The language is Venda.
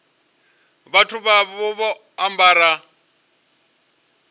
vhathu vha vha vho ambara